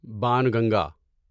Banganga